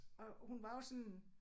Og hun var jo sådan